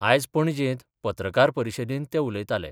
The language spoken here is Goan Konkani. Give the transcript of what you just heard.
आयज पणजेंत पत्रकार परिशदेंत ते उलयताले.